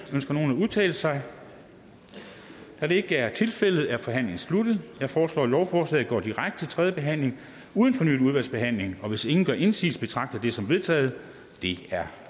ønsker nogen at udtale sig da det ikke er tilfældet er forhandlingen sluttet jeg foreslår at lovforslaget går direkte til tredje behandling uden fornyet udvalgsbehandling hvis ingen gør indsigelse betragter jeg det som vedtaget det er